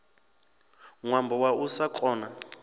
ṅwambo wa u sa kona